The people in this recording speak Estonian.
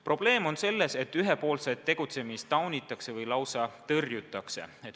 Probleem on selles, et ühepoolset tegutsemist taunitakse või lausa tõrjutakse.